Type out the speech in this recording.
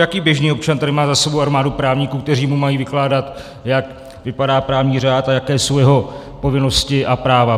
Jaký běžný občan tady má za sebou armádu právníků, kteří mu mají vykládat, jak vypadá právní řád a jaké jsou jeho povinnosti a práva?